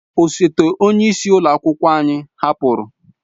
Osote onye isi ụlọ akwụkwọ anyị hapụrụ.